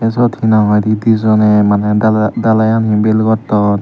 siyot hinahoide dijone mane dalai dalai ani bel gotton.